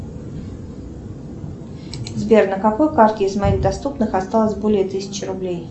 сбер на какой карте из моих доступных осталось более тысячи рублей